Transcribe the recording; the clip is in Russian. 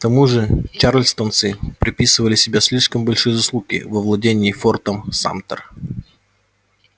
к тому же чарльстонцы приписывали себе слишком большие заслуги в овладении фортом самтер